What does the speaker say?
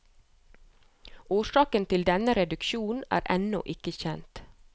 Årsaken til denne reduksjon er ennå ikke kjent.